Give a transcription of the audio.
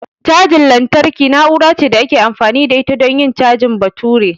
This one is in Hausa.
Cajar lantarki na'ura ce da ake amfani da ita don yin cajin batura.